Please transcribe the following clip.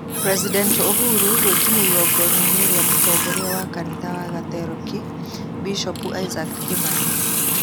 President Uhuru gwikinyia igongonainĩ rĩa mũtongoria wa kanitha wa Gatoreki, bishovu Isaack Kĩmani